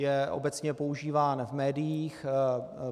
Je obecně používán v médiích.